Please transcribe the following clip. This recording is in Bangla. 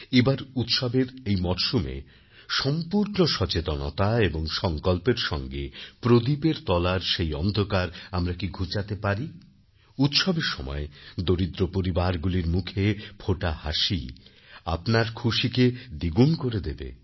এবার উৎসবের এই মরসুমে সম্পূর্ণ সচেতনতা এবং সংকল্পের সঙ্গে প্রদীপের তলার সেই অন্ধকার আমরা কি ঘুচাতে পারিউৎসবের সময় দরিদ্র পরিবারগুলির মুখে ফোটা হাসি আপনার খুশিকে দ্বিগুণ করে দেবে